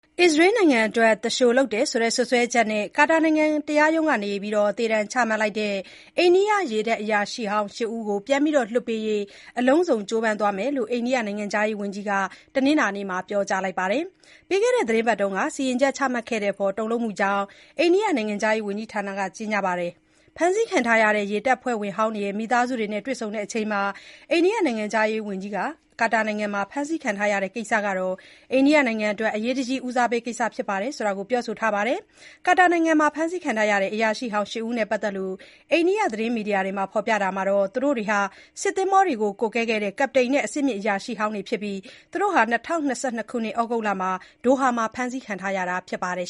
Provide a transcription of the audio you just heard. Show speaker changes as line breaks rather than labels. အစ္စရေးနိုင်ငံအတွက် သူလျှိုလုပ်တယ်ဆိုတဲ့ စွပ်စွဲချက်နဲ့ ကာတာနိုင်ငံက တရားရုံးက သေဒဏ်ချမှတ်လိုက်တဲ့ အိန္ဒိယရေတပ်အရာရှိဟောင်းရှစ်ဦးကို ပြန်လွှတ်ပေးရေး အလုံးစုံကြိုးပမ်းသွားမယ်လို့ အိန္ဒိယနိုင်ငံခြားရေးဝန်ကြီးက တနင်္လာနေ့ (အောက်တိုဘာ ၃၀) မှာ ပြောကြားလိုက်ပါတယ်။ ပြီးခဲ့တဲ့ သီတင်းပတ်က စီရင်ချက်ချမှတ်ခဲ့တဲ့အပေါ် တုန်လှုပ်မိကြောင်း အိန္ဒိယနိုင်ငံခြားရေးဝန်ကြီးဌာနရဲ့ ကြေညာချက်မှာ ဖေါ်ပြထားပါတယ်။ ဖမ်းဆီးခံထားရတဲ့ ရေတပ်ဖွဲ့ဝင်ဟောင်းတွေရဲ့မိသားစုတွေနဲ့ တွေ့ဆုံချိန်မှာ ဝန်ကြီး Subrahmanyam Jaishankar ကလည်း ကာတာနိုင်ငံမှာ ဖမ်းဆီးခံထားရတဲ့ကိစ္စဟာ နိုင်ငံအတွက် အရေးတကြီးဦးစားပေးကိစ္စဖြစ်တယ်လို့ ပြောဆိုခဲ့ပါတယ်။ ကာတာနိုင်ငံမှာ ဖမ်းဆီးခံထားရတဲ့ အရာရှိဟောင်းရှစ်ဦးနဲ့ ပတ်သက်လို့ အိန္ဒိယသတင်းမီဒီယာတွေကဖေါ်ပြထားရာမှာတော့ သူတို့တွေဟာ စစ်သင်္ဘောတွေကို ကွပ်ကဲခဲ့တဲ့ ကပ္ပတိန်တွေနဲ့ အဆင့်မြင့်အရာရှိဟောင်းတွေဖြစ်ပြီး ၂၀၂၂ ခုနှစ် သြဂုတ်လမှာ ဒိုဟာမှာ ဖ
မ်းဆီးခံခဲ့ရတာဖြစ်ပါတယ်